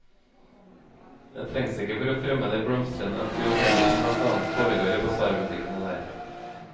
Det trengs ikke for å fremme de blomstrende aktiviteter som blant annet foregår i basarbutikkene der.